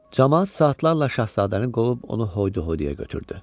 Camaat saatlarla Şahzadəni qovub onu hoydu-hoyduya götürdü.